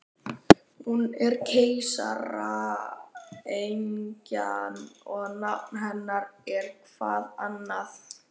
Hún er keisaraynjan og nafn hennar er-hvað annað?